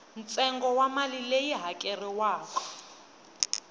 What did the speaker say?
ntsengo wa mali leyi hakeriwaka